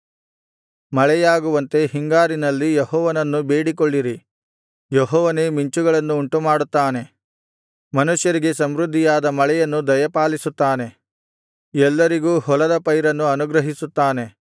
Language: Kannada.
ಮಳೆಯಾಗುವಂತೆ ಹಿಂಗಾರಿನಲ್ಲಿ ಯೆಹೋವನನ್ನು ಬೇಡಿಕೊಳ್ಳಿರಿ ಯೆಹೋವನೇ ಮಿಂಚುಗಳನ್ನು ಉಂಟುಮಾಡುತ್ತಾನೆ ಮನುಷ್ಯರಿಗೆ ಸಮೃದ್ಧಿಯಾದ ಮಳೆಯನ್ನು ದಯಪಾಲಿಸುತ್ತಾನೆ ಎಲ್ಲರಿಗೂ ಹೊಲದ ಪೈರನ್ನು ಅನುಗ್ರಹಿಸುತ್ತಾನೆ